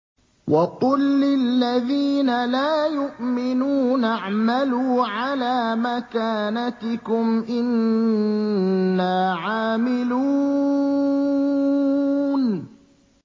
وَقُل لِّلَّذِينَ لَا يُؤْمِنُونَ اعْمَلُوا عَلَىٰ مَكَانَتِكُمْ إِنَّا عَامِلُونَ